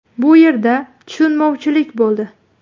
Bu yerda tushunmovchilik bo‘ldi.